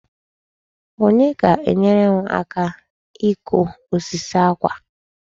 Onye ga-enyere m aka ikụ osisi àkwà a?